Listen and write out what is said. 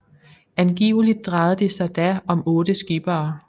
Angiveligt drejede det sig da om 8 skippere